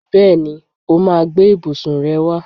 Bẹ́ẹ̀ni, ó máa gbé ibùsùn rẹ wá.